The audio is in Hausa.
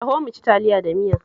Taho mu ci Taliya da miya